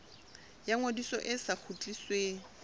ya ngodiso e sa kgutlisweng